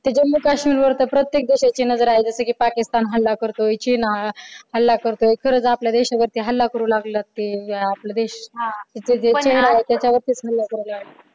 ते जम्मू काश्मीर वर तर प्रत्येक देशाची नजर आहे जस कि पाकिस्तान हल्ला करतोय चीन हल्ला करतोय खरच आपल्या देशावरती हल्ला करू लागलेलाय आपला देश हा